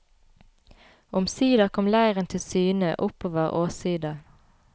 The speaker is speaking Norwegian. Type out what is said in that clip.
Omsider kom leiren til syne oppover åssida.